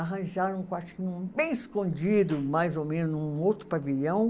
Arranjaram um quartinho bem escondido, mais ou menos, num outro pavilhão.